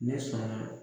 Ne sɔnna